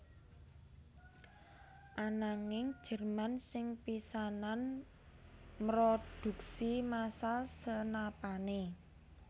Ananging Jerman sing pisanan mrodhuksi masal senapané